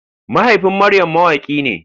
Mahaifin Maryam mawaki ne.